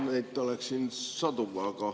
Neid oleks sadu.